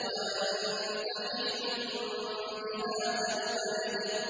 وَأَنتَ حِلٌّ بِهَٰذَا الْبَلَدِ